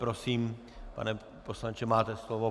Prosím, pane poslanče, máte slovo.